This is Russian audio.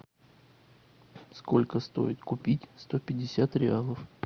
сколько стоит купить сто пятьдесят реалов